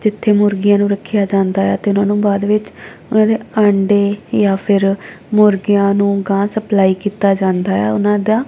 ਜਿੱਥੇ ਮੁਰਗੀਆਂ ਨੂੰ ਰੱਖਿਆ ਜਾਂਦਾ ਹੈ ਤੇ ਓਹਨਾਂ ਨੂੰ ਬਾਅਦ ਵਿੱਚ ਓਹਨਾਂ ਦੇ ਆਂਡੇ ਯਾ ਫੇਰ ਮੁਰਗੀਆਂ ਨੂੰ ਗਾਹ ਸਪਲਾਈ ਕਿੱਤਾ ਜਾਂਦਾ ਹੈ ਓਹਨਾਂ ਦਾ।